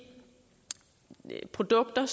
eu